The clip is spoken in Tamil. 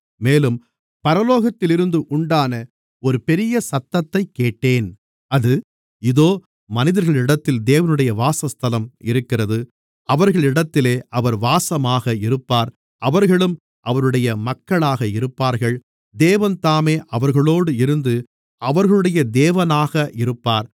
மேலும் பரலோகத்திலிருந்து உண்டான ஒரு பெரிய சத்தத்தைக் கேட்டேன் அது இதோ மனிதர்களிடத்திலே தேவனுடைய வாசஸ்தலம் இருக்கிறது அவர்களிடத்திலே அவர் வாசமாக இருப்பார் அவர்களும் அவருடைய மக்களாக இருப்பார்கள் தேவன்தாமே அவர்களோடு இருந்து அவர்களுடைய தேவனாக இருப்பார்